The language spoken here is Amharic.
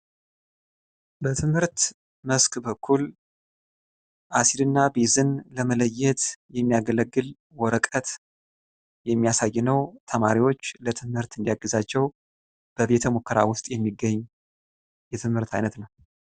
በትምህርት መስክ በኩል አሲድ እና ቤዝን ለመለየት የሚያገለግል ወረቀት የሚያሳይ ነው ተማሪዎች ለትምህርት እንዲያግዛቸው በቤተ-ሙከራ ውስጥ የሚገኝ የትምህርት አይነት ነው።